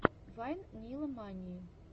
вайн нила мании